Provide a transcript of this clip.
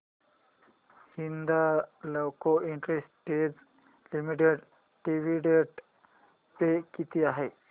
Hindalco industries limited dividend pay किती आहे